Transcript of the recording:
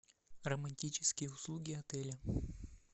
романтические услуги отеля